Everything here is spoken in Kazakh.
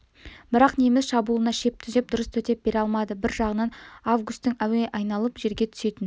бірақ неміс шабуылына шеп түзеп дұрыс төтеп бере алмады бір жағынан августың әуе айналып жерге түсетін